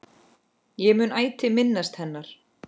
Ég mun ætíð minnast hennar.